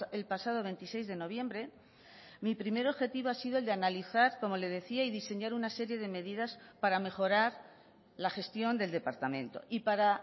el pasado veintiséis de noviembre mi primer objetivo ha sido el de analizar como le decía y diseñar una serie de medidas para mejorar la gestión del departamento y para